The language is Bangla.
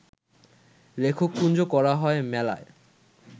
লেখক কুঞ্জ করা হয় মেলায়